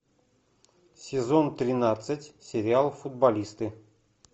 сезон тринадцать сериал футболисты